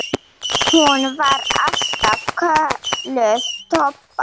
Hún var alltaf kölluð Tobba.